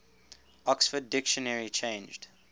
oxford dictionary changed